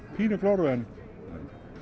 pínu glóru en